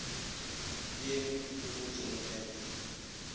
di emetšwe ke go tseneletšwa